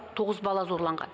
тоғыз бала зорланған